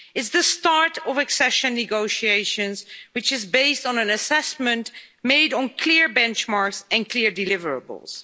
it's the start of accession negotiations, which is based on an assessment made on clear benchmarks and clear deliverables.